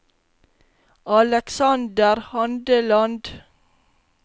Alexander Handeland